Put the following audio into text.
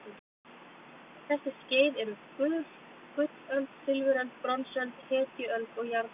Þessi skeið eru gullöld, silfuröld, bronsöld, hetjuöld og járnöld.